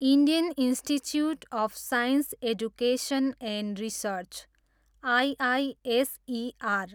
Indian Institute of Science Education and Research, IISER